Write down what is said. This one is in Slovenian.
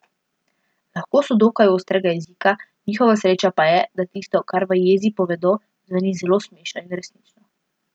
Lahko so dokaj ostrega jezika, njihova sreča pa je, da tisto, kar v jezi povedo, zveni zelo smešno in resnično.